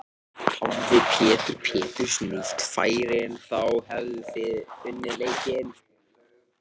Hefði Pétur Péturs nýtt færin þá hefðuð þið unnið leikinn?